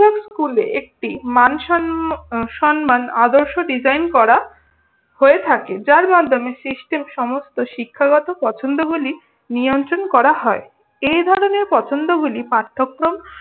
স্কুলে একটি মানসন সম্মান আদর্শ design করা হয়ে থাকে। যার মাধ্যমে system সমস্ত শিক্ষাগত পছন্দগুলি নিয়ন্ত্রন করা হয়। এই ধরনের পছন্দগুলি পাঠ্যক্রম